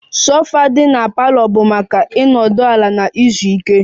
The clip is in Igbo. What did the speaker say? Sofa dị na parlor bụ maka ịnọdụ ala na izu ike